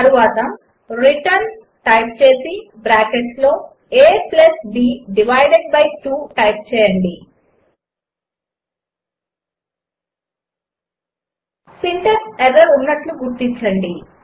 తర్వాత return return type చేసి బ్రాకెట్స్లో ab డివైడెడ్ బై 2 టైప్ చేయండి సింటాక్స్ ఎర్రర్ ఉన్నట్లు గుర్తించండి